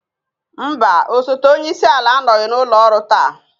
Mba, osote onye isi ala anọghị n'ụlọ ọrụ taa